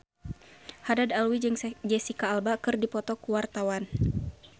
Haddad Alwi jeung Jesicca Alba keur dipoto ku wartawan